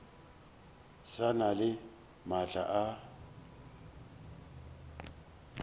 sa na le maatla a